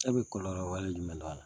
E bi kɔlɔlɔ wale jumɛn dɔn a la